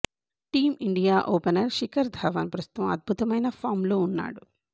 team India opener Shikhar Dhawan ప్రస్తుతం అద్భుతమైన ఫాంలో ఉన్నాడు